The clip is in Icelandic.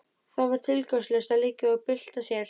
Það var tilgangslaust að liggja og bylta sér.